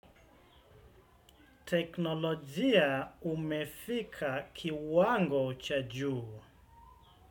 Teknolojia imefika kiwango cha juu.